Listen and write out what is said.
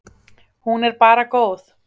Hún er bara góð.